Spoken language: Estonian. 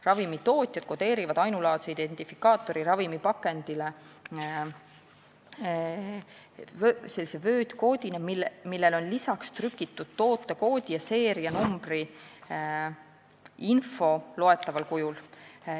Ravimitootjad kodeerivad ainulaadse identifikaatori ravimipakendile vöötkoodina, millele on lisaks trükitud tootekood ja seerianumbri info loetaval kujul.